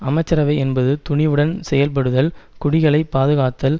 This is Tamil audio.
அமைச்சரவை என்பது துணிவுடன் செயல்படுதல் குடிகளை பாதுகாத்தல்